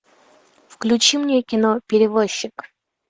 включи мне кино перевозчик